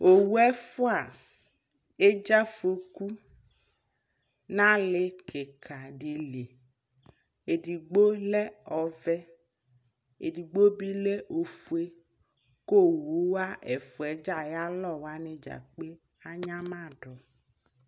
ɔwʋ ɛƒʋa ɛdzaƒʋɔkʋ nʋ ali kikaa dili, ɛdigbɔ lɛ ɔvɛ, ɛdigbɔ bi lɛ ɔƒʋɛ kʋ ɔwʋ wa ɛƒʋa dza kpɛ anyamadu